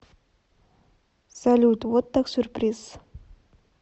салют вот так сюрприз